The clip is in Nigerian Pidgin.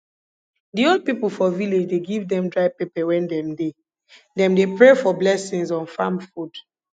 di old pipo for village dey give dem dry pepper wen dem dey dem dey pray for blessings on farm food